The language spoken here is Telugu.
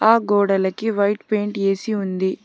ఆ గోడలకి వైట్ పెయింట్ వేసి ఉంది.